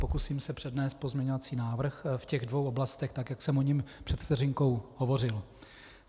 Pokusím se přednést pozměňovací návrh v těch dvou oblastech, tak jak jsem o něm před vteřinkou hovořil.